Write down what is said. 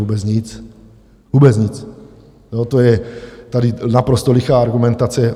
Vůbec nic, vůbec nic, to je tady naprosto lichá argumentace.